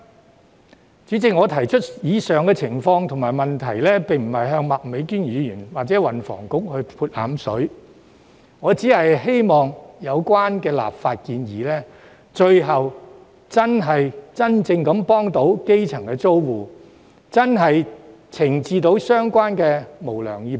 代理主席，我提出上述情況和問題，並不是要向麥美娟議員或運輸及房屋局潑冷水，而是希望有關的立法建議最後能真正幫助基層租戶，懲治相關的無良業主。